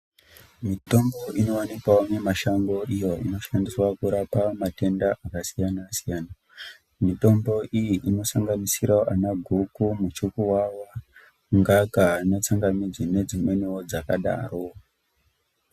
Mitombo inowanikwawo mumashango iyo inoshandiswa kurapa matenda akasiyana-siyana mitombo iyi inosanganisira ana goko Muchukuwawa ngaka ana tsanga midzi nedzimweniwo dzakadaro.